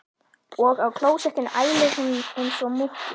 Og á klósettinu ælir hún einsog múkki.